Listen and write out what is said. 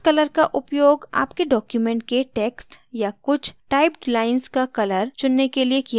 font color का उपयोग आपके document के text या कुछ typed lines का color चुनने के लिए किया जाता है